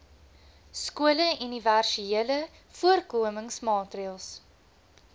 skole universele voorkomingsmaatreëls